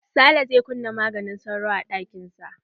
Sale zai kuna maganin sauro a ɗakin sa.